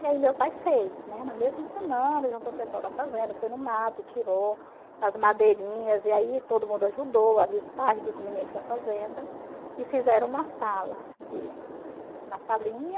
E aí meu pai fez, né, na mesma semana, juntou o pessoal da fazenda, foi no mato, tirou as madeirinhas, e aí todo mundo ajudou, ali os pais dos meninos da fazenda, e fizeram uma sala, uma salinha,